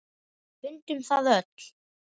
Við fundum það öll.